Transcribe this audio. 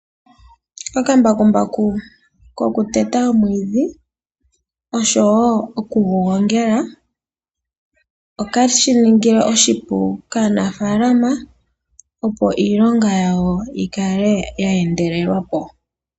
Okambakumbaku kokuteta omwiidhi noku gu gongela okeshi ningile oshipu kaanafalama opo iilonga yawo yi kale ya endelelwa po.